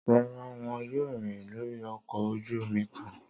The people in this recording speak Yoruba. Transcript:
Rara, wọn yoo rin lori ọkọ oju omi kan.